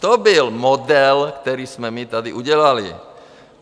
To byl model, který jsme my tady udělali.